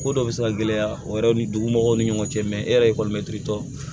Ko dɔ bɛ se ka gɛlɛya o yɛrɛ ni dugu mɔgɔw ni ɲɔgɔn cɛ e yɛrɛ ekɔlimɛtiri tɔ